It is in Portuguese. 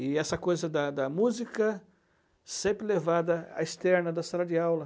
E essa coisa da da música sempre levada à externa da sala de aula.